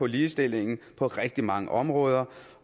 ligestilling på rigtig mange områder